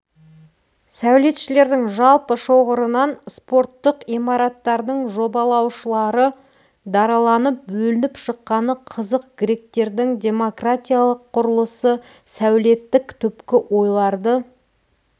сәулетшілердің жалпы шоғырынан спорттық имараттардың жобалаушылары дараланып бөлініп шыққаны қызық гректердің демократиялық құрылысы сәулеттік түпкі ойларды